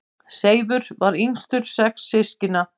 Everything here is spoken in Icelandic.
Seifur var yngstur sex systkina.